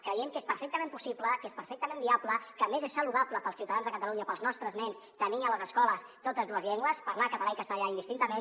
creiem que és perfectament possible que és perfectament viable que a més és saludable per als ciutadans de catalunya per als nostres nens tenir a les escoles totes dues llengües parlar català i castellà indistintament